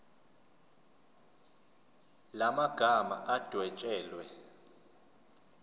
la magama adwetshelwe